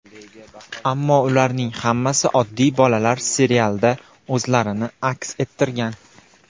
Ammo ularning hammasi oddiy bolalar, serialda o‘zlarini aks ettirgan.